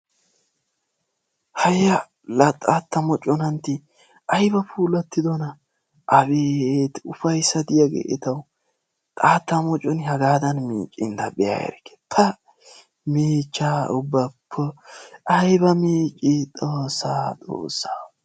haayya la xaatta mooconantti ayba puulatidoonaa! abeeti ufayssa diyaagee etawu xaatta mocconi hagaadan miccin ta be'a erikke. pa! miichchaa ubba ayba miccii xoossoo xoossoo!